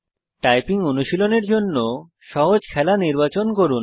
typing অনুশীলনের জন্য সহজ খেলা নির্বাচন করুন